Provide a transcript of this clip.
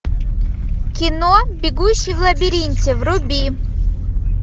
кино бегущий в лабиринте вруби